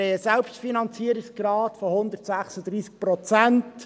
Wir haben einen Selbstfinanzierungsgrad von 136 Prozent.